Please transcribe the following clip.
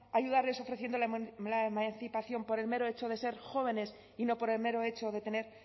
ayudarles ofreciéndole la emancipación por el mero hecho de ser jóvenes y no por el mero hecho de tener